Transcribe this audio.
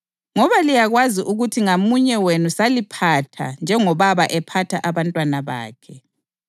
Ngoba liyakwazi ukuthi ngamunye wenu saliphatha njengobaba ephatha abantwana bakhe,